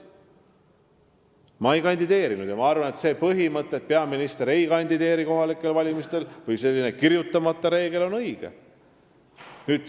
Ma ise ei kandideerinud ja arvan, et see põhimõte või kirjutamata reegel, et peaminister kohalikel valimistel ei kandideeri, on õige.